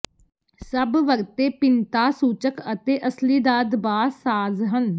ਸਭ ਵਰਤੇ ਭਿੰਨਤਾਸੂਚਕ ਅਤੇ ਅਸਲੀ ਦਾ ਦਬਾਅ ਸਾਜ਼ ਹਨ